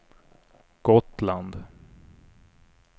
Gotland